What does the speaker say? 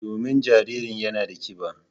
Domin jaririn yana da kiba.